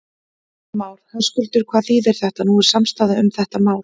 Heimir Már: Höskuldur, hvað þýðir þetta, nú er samstaða um þetta mál?